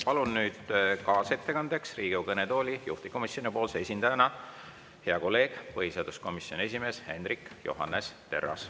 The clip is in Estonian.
Palun nüüd kaasettekandeks Riigikogu kõnetooli juhtivkomisjoni esindajana hea kolleegi, põhiseaduskomisjoni esimehe Hendrik Johannes Terrase.